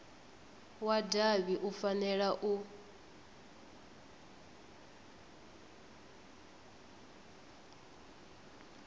wa davhi u fanela u